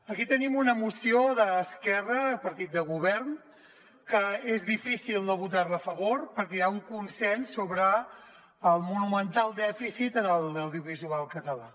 aquí tenim una moció d’esquerra partit de govern que és difícil no votar·hi a favor perquè hi ha un con·sens sobre el monumental dèficit en l’audiovisual català